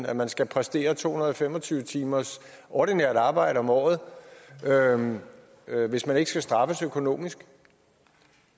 at man skal præstere to hundrede og fem og tyve timers ordinært arbejde om året hvis man ikke skal straffes økonomisk